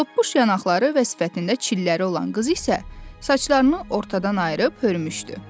Topbuş yanaqları və sifətində çilləri olan qız isə saçlarını ortadan ayırıb hörmüşdü.